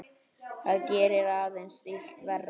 Það gerði aðeins illt verra.